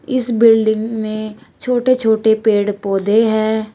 इस बिल्डिंग में छोटे छोटे पेड़ पौधे हैं।